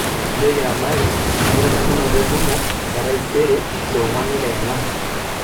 nchooki abari enkitadamunoto e ntumo e taiserew saa onguan e ntedekenya